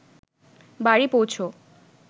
বাড়ি পৌঁছ